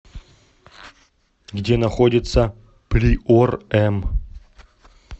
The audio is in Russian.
где находится приор м